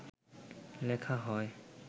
লেখা হয়